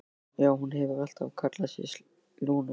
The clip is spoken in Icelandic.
Já, hún hefur alltaf kallað sig Lúnu.